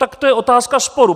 Tak to je otázka sporu.